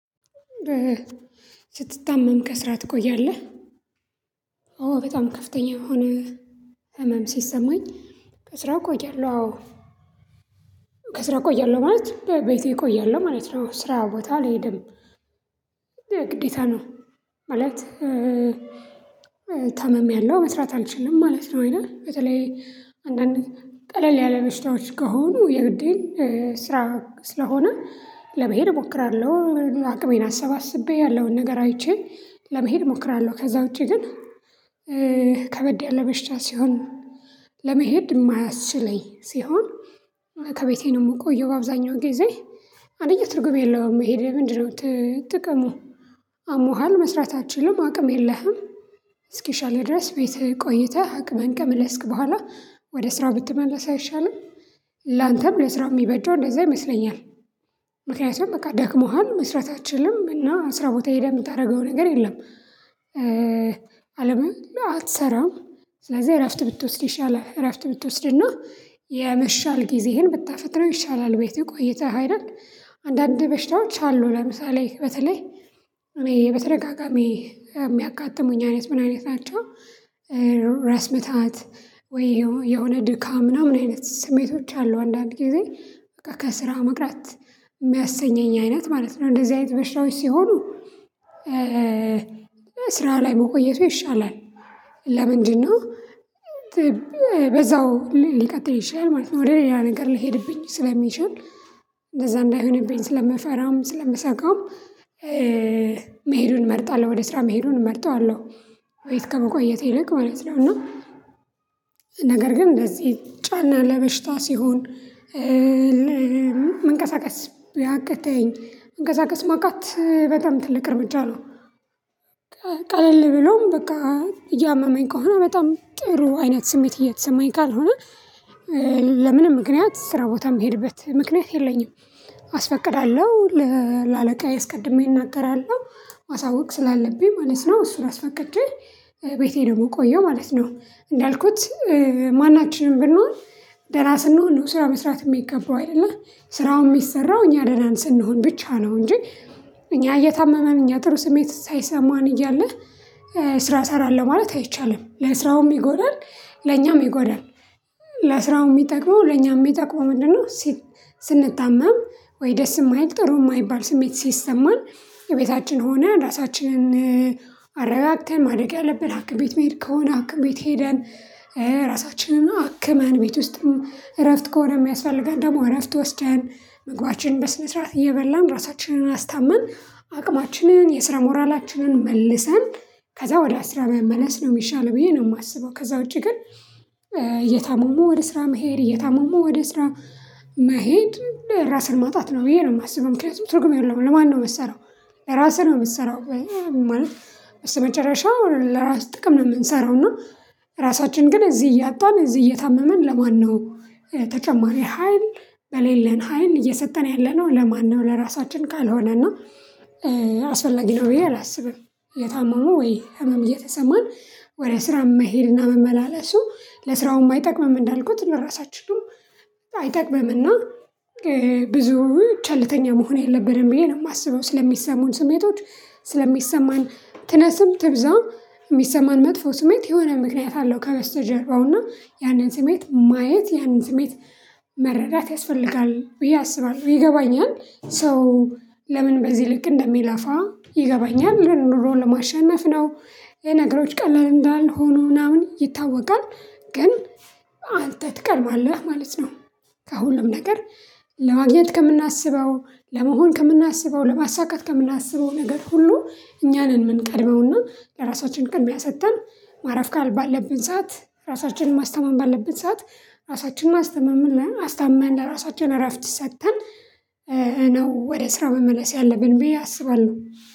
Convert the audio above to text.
ስትታመም ከስራ ትቆያለህ? ኦ በጣም ከፍተኛ የሆነ ህመም ሲሰማኝ ከስራ ቆያለሁ አዎ። ከስራው ቆያለሁ ማለት በቤቴ ቆያለሁ ማለት ነው። ስራ ቦታ አልሄድም። ግዴታ ነው ማለት ታምሜያለሁ መስራት አልችልም ማለት ነው። አይደል? በተለይ አንዳንዴ ቀለል ያለ በሽታዎች ከሆኑ የግዴን ስራ ስለሆነ ለመሄድ እሞክራለሁ። አቅሜን አሰባስቤ ያለውን ነገር አይቼ ለመሄድ እሞክራለሁ። ከዛ ውጪ ግን ከበድ ያለ በሽታ ሲሆን ለመሄድ ማያስችለኝ ሲሆን ከቤቴ ነው ምቆየው በአብዛኛው ጊዜ። አንደኛ ትርጉም የለውም መሄዴ ምንድነው ጥቅሙ? አሞሃል መስራት አትችልም። አቅም የለህም። እስኪሻልህ ድረስ ቤትህ ቆይተህ አቅምህን ከመለስክ በኋላ ወደ ስራ ብትመለስ አይሻልም? ላንተም ለስራ ሚበጀው እንደዛ ይመስለኛል። ምክንያቱም በቃ ደክሞሃል መስራት አትችልም እና ስራ ቦታ ሄደህ ምታደርገው ነገር የለም። አለምም አትሰራም ስለዚህ እረፍት ብትወስድ ይሻላል። እረፍት ብትወስድ እና የመሻል ጊዜህን ብታፈጥነው ይሻላል ቤትህ ቆይተህ አይደል? አንዳንድ በሽታዎች አሉ ለምሳሌ በተለይ እኔ በተደጋጋሚ የሚያጋጥሙኝ አይነት ምን አይነት ናቸው ራስ ምታት ወይ የሆነ ድካም ምናምን አይነት ስሜቶች አሉ አንዳንድ ጊዜ ከስራ መቅረት ሚያሰኘኝ አይነት ማለት ነው። እንደዚህ አይነት በሽታዎች ሲሆኑ ስራ ላይ መቆየቱ ይሻላል። ለምንድነው? በዛው ሊቀጥል ይችላል ማለት ነው። ወደ ሌላ ነገር ልሄድብኝ ስለሚችል እንደዛ እንዳይሆንብኝ ስለምፈራም ስለምሰጋም መሄዱን እመርጣለሁ ወደ ስራ መሄዱን እመርጠዋለሁ። ቤት ከመቆየት ይልቅ ማለት ነው። እና ነገር ግን እንደዚህ ጫና ለበሽታ ሲሆን ያቅተኝ መንቀሳቀስ ማቃት በጣም ትልቅ እርምጃ ነው። ቀለል ብሎም በቃ እያመመኝ ከሆነ በጣም ጥሩ አይነት ስሜት እየተሰማኝ ካልሆነ ምክንያት ስራ ቦታ ምሄድበት ምክንያት የለኝም። አስፈቅዳለሁ። ለአለቃዬ አስቀድሜ እናገራለሁ። ማሳወቅ ስላለብኝ ማለት ነው። እሱን አስፈቅጄ ቤቴ ነው ምቆየሁ ማለት ነው። እንዳልኩት ማናችንም ብንሆን ደና ስንሆን ነው ስራ መስራት ሚገባው አይደለ? ስራውም ሚሰራው እኛ ደህና ስንሆን ብቻ ነው እንጂ እኛ እየታመምን እኛ ጥሩ ስሜት ሳይሰማን እያለህ ስራ ሰራለሁ ማለት አይቻልም። ለስራውም ይጎዳል ለኛም ይጎዳል። ለስራው ሚጠቅመው ለኛም ሚጠቅመው ምንድነው? ስንታመም ወይ ደስ የማይል ጥሩ የማይባል ስሜት ሲሰማን እቤታችን ሆነን ራሳችንን አረጋግተን ማድረግ ያለብን ሐኪም ቤት መሄድ ከሆነ ሐኪም ቤት ሄደን ራሳችንን አክመን ቤት ውስጥም እረፍት ከሆነ የሚያስፈልገን ደግሞ እረፍት ወስደን ምግባችንን በስነ ስርዓት እየበላን ራሳችንን አስታመን አቅማችንን የስራ ሞራላችንን መልሰን ከዛ ወደ ስራ መመለስ ነው የሚሻለው ብዬ ነው ማስበው። ከዛ ውጪ ግን እየታመሙ ወደ ስራ መሄድ እየታመሙ ወደ ስራ መሄድ ራስን ማጣት ነው ብዬ ነው ማስበው። ምክንያቱም ትርጉም የለውም ለማን ነው ምትሰራው? ለራስህ ነው ምትሰራው። ማለት በስተመጨረሻው ለራስህ ጥቅም ነው ምንሰራው። እና ራሳችንን ግን እዚህ እያጣን እዚህ እየታመመን ለማን ነው ተጨማሪ ሀይል በሌለን ሀይል እየሰጠን ያለነው ለማን ነው? ለራሳችን ካልሆነና አስፈላጊ ነው ብዬ አላስብም። የታመሙ ወይ ህመም እየተሰማን ወደ ስራ መሄድና መመላለሱ ለስራውም አይጠቅምም እንዳልኩት ለራሳችን አይጠቅምም። እና ብዙ ቸልተኛ መሆን የለብንም ብዬ ነው ማስበው። ስለሚሰሙን ስሜቶች ስለሚሰማን ትነስም ትብዛም ሚሰማን መጥፎ ስሜት የሆነ ምክንያት አለው ከበስተጀርባው እና ያንን ስሜት ማየት ያንን ስሜት መረዳት ያስፈልጋል ብዬ አስባለሁ። ይገባኛል ሰው ለምን በዚህ ልክ እንደሚለፋ ይገባኛል። ኑሮ ለማሸነፍ ነው ይሄ ነገሮች ቀላል እንዳልሆኑ ምናምን ይታወቃል። ግን አንተ ትቀድማለህ ማለት ነው። ከሁሉም ነገር ለማግኘት ከምናስበው ለመሆን ከምናስበው ለማሳካት ከምናስበው ነገር ሁሉ እኛ ነን ምንቀድመው። እና ለራሳችን ቅድሚያ ሰጥተን ማረፍ ባለብን ሰዓት ራሳችንን ማስተመም ባለብን ሰዓት ራሳችንን አስታመን ለራሳችን እረፍት ሰጥተን ነው ወደ ስራ መመለስ ያለብን ብዬ አስባለሁ።